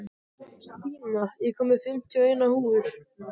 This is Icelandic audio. Stína, ég kom með fimmtíu og eina húfur!